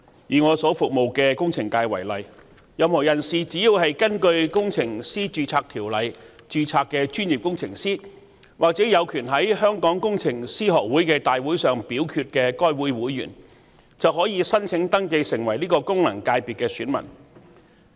以我所服務的工程界為例，任何人士只要是根據《工程師註冊條例》註冊的專業工程師或有權在香港工程師學會大會上表決的會員，便可以申請登記成為該功能界別的選民。